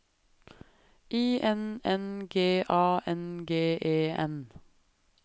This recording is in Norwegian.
I N N G A N G E N